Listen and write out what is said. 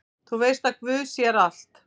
Þú veist að guð sér allt!